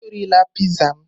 Erila Piizaa m!